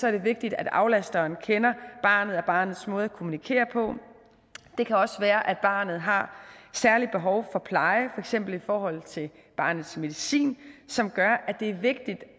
er det vigtigt at aflasteren kender barnet og barnets måde at kommunikere på det kan også være at barnet har særligt behov for pleje eksempel i forhold til barnets medicin som gør at det er vigtigt